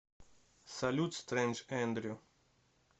салют стрэндж эндрю